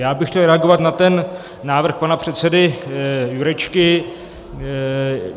Já bych chtěl reagovat na ten návrh pana předsedy Jurečky.